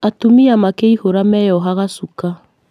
Atumia makĩihũra meyohaga shuka